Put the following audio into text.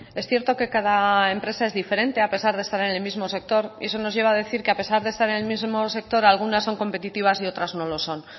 es cierto que cada empresa es diferente a pesar de estar en el mismo sector y eso nos lleva a decir que a pesar de estar en el mismo sector algunas son competitivas y otras no lo son